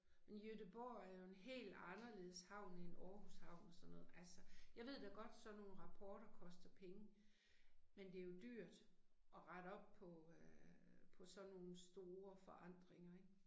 Men Göteborg er jo en hel anderledes havn end Aarhus havn og sådan noget altså. Jeg ved da godt sådan nogle rapporter koster penge, men det er jo dyrt at rette op på øh på sådan nogle store forandringer ik